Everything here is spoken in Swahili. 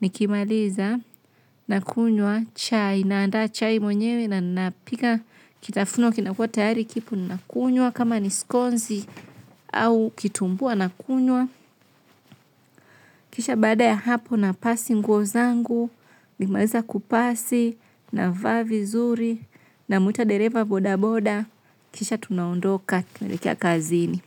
nikimaliza, nakunywa chai naanda chai mwenyewe na napika. Kitafuno kinakua tayari kipo, nakunywa, kama nisikonzi au kitumbua nakunywa. Kisha baada ya hapo na pasi nguo zangu, nikimaliza kupasi, na vaa vizuri, namwita dereva boda boda, kisha tunaondoka tunaelekea kazini.